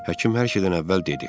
Həkim hər şeydən əvvəl dedi: